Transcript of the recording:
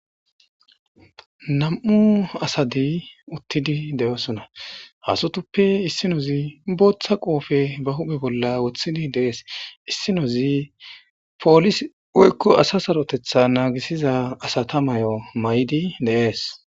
nam'u asadi uttidi de'oosona ha asutuppe issinozi booththa qoofe ba hupe bolla wothidi deees issinozi poolis woykko asa sarotetha naagisiza asata mayo mayidi de'ees